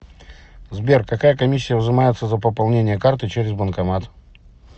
сбер какая комиссия взимается за пополнение карты через банкомат